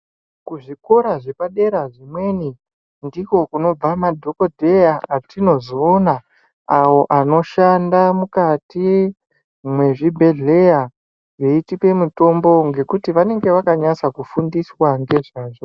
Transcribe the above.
Kuzvikora zvepadera zvimweni ndiko kunobva madhogodheya watinozoona awo vanoshanda mukati mezvibhedhlera eitipa mutombo ngekuti vanenge vakanasa kufundiswa ngezvazvo.